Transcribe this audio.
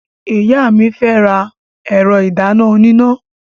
Ìyá mi fẹ́ ra ẹ̀rọ ìdáná oníná.